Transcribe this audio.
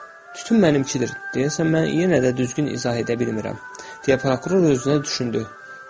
Tütün mənimkidir, deyəsən mən yenə də düzgün izah edə bilmirəm, deyə prokuror öz-özünə düşündü.